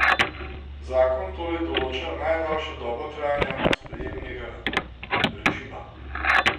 Zakon torej določa najdaljšo dobo trajanja sprejemnega režima.